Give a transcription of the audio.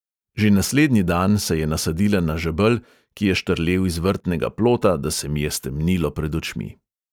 Že naslednji dan se je nasadila na žebelj, ki je štrlel iz vrtnega plota, da se mi je stemnilo pred očmi.